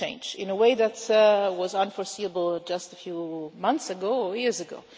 Things change in a way that was unforeseeable just a few months or years ago.